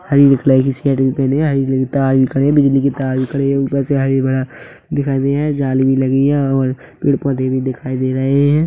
हरी colour की shirt भी पहने है और तार भी खड़े बिजली की तार भी खड़े ऊपर से हाइवै बड़ा दिखाई दे रही है जाली भी लगी है और पेड़ पौधे भी दिखाई दे रहे है।